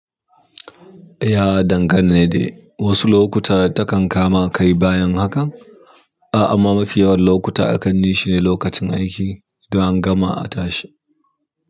Ya dangane de wasu lokuta takan kama kai bayan hakan, a amma mafi yawan lokuta akan nishi ne lokacin aiki, idon an gama a tashi.